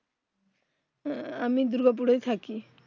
হম আমি দুর্গাপুর এই থাকি